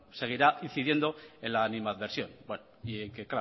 seguirá incidiendo en la animadversión es que